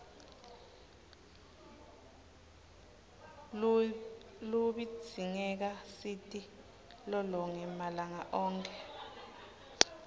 luibzingeka siti lolonge malanga onkhe